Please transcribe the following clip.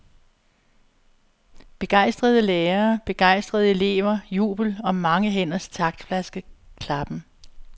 Begejstrede lærere, begejstrede elever, jubel og mange hænders taktfaste klappen.